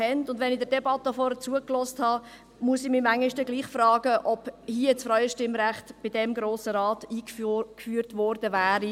Wenn ich der Debatte vorhin zugehört habe, muss ich mich manchmal gleichwohl fragen, ob das Frauenstimmrecht von diesem Grossen Rat eingeführt worden wären.